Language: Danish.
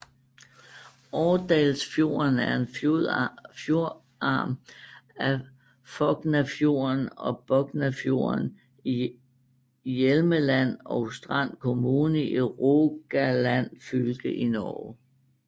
Årdalsfjorden er en fjordarm af Fognafjorden og Boknafjorden i Hjelmeland og Strand kommune i Rogaland fylke i Norge